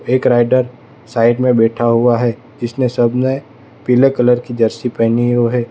एक rider side में बैठा हुआ है जिसने सबने पीले कलर की जर्सी पहनी ओ है।